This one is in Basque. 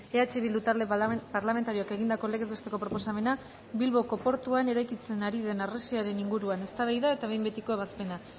eh bildu talde parlamentarioak egindako legez besteko proposamena bilboko portuan eraikitzen ari den harresiaren inguruan eztabaida eta behin betiko ebazpena